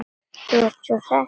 Þú sem ert svo hress!